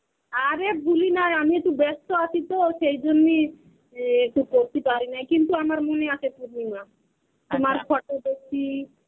আরে ভুলি নাই. আমি তো বাস্ত আছি তো সেইজন্যেই এ একটু করতে পারিনাই কিন্তু আমার মনে আছে তোমার photo দেখছি.